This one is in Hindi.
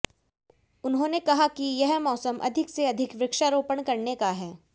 उन्होंने कहा कि यह मौसम अधिक से अधिक वृक्षारोपण करने का है